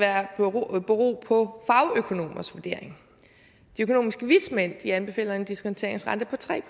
bero på fagøkonomers vurdering de økonomiske vismænd anbefaler en diskonteringsrente på tre